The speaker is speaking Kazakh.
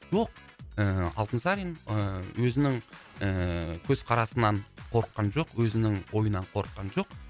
жоқ ыыы алтынсарин ыыы өзінің ыыы көзқарасынан қорыққан жоқ өзінің ойынан қорыққан жоқ